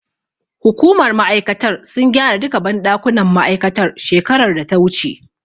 Hukumar ma'aikatar sun gyara duka banɗakunan ma'aikatar shekarar data wuce